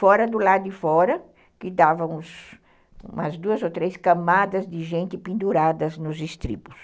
Fora do lado de fora, que davam umas duas ou três camadas de gente penduradas nos estribos.